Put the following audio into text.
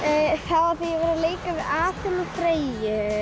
að leika við Aþenu og Freyju